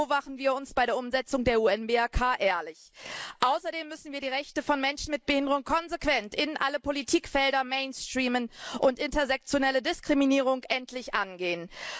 Nur so machen wir uns bei der Umsetzung der UN BRK ehrlich. Außerdem müssen wir die Rechte von Menschen mit Behinderung konsequent in alle Politikfelder mainstreamen und intersexuelle Diskriminierung endlich angehen.